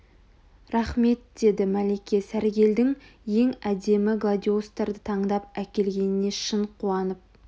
рақмет деді мәлике сәргелдің ең әдемі гладиолустарды таңдап әкелгеніне шын қуанып